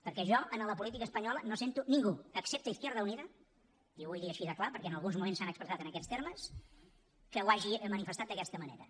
perquè jo a la política espanyola no sento ningú excepte izquierda unida i ho vull dir així de clar perquè en alguns moments s’han expressat en aquests termes que ho hagi manifestat d’aquesta manera